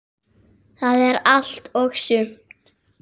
Það er allt og sumt.